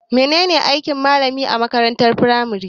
Me ne ne aikin malami a makarantar firamare?